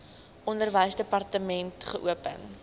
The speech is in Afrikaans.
onderwysdepartement wkod geopen